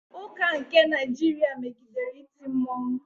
Ụka nke Naịjirịa megidere iti mmọnwụ.